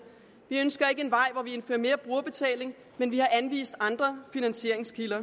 vi ønsker ikke en vej hvor vi indfører mere brugerbetaling men vi har anvist andre finansieringskilder